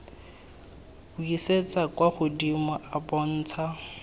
buisetsa kwa godimo a bontsha